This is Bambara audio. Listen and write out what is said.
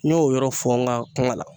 N y'o yɔrɔ fɔ ŋa kuma la